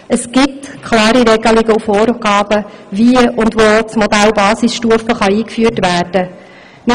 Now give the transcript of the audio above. Es gibt klare Regelungen und Vorgaben, wie und wo das Modell Basisstufe eingeführt werden kann.